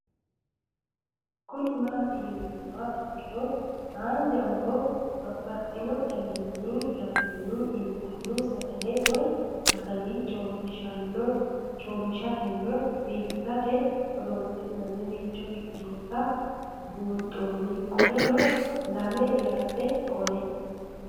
Kuni mati yinumoha ikiro hanja muroni babaxino daninina ragini intani sagale woyi sagali comishatenna bifisate horonsine'morich ikinota bunxana qoleno lame yaate qoleno